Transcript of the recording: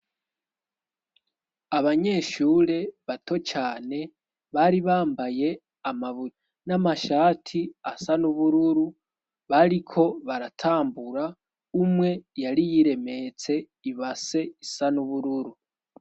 Abanyeshure bato cane bari bambaye amabutura n'amashati asa n'ubururu bariko baratambura, umwe yari yiremetse ibase isa n'ubururu.